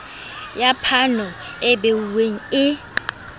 ya phano e behuweng e